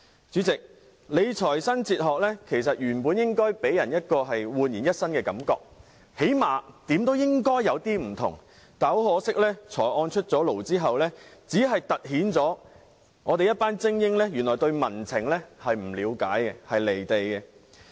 主席，理財新哲學原本應該予人煥然一新的感覺，最低限度也要稍有不同，但很可惜，財政預算案出爐後，只凸顯了政府的一群精英對民情不了解、離地。